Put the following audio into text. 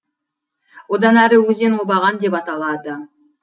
одан әрі өзен обаған деп аталады